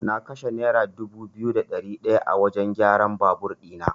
Na kashe naira dubu biyu da ɗari ɗaya a wajan kyaran babur ɗina.